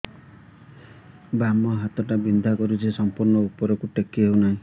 ବାମ ହାତ ଟା ବିନ୍ଧା କରୁଛି ସମ୍ପୂର୍ଣ ଉପରକୁ ଟେକି ହୋଉନାହିଁ